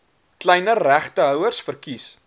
kleiner regtehouers verkies